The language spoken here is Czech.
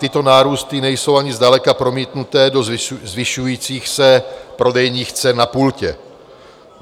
Tyto nárůsty nejsou ani zdaleka promítnuté do zvyšujících se prodejních cen na pultě.